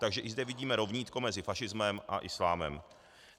Takže i zde vidíme rovnítko mezi fašismem a islámem.